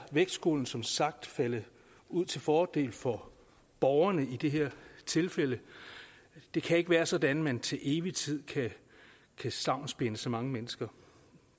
vægtskålen som sagt faldet ud til fordel for borgerne i det her tilfælde det kan ikke være sådan at man til evig tid kan stavnsbinde så mange mennesker